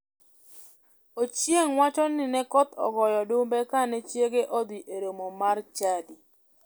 Ochieng wacho ni ne koth ogoyo odumbe kane chiege odhi e romo mar chadi.